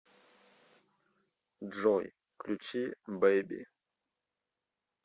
джой включи бэйби